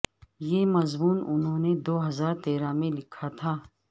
یہ مضمون انہوں نے دوہزار تیرہ میں لکھا تھا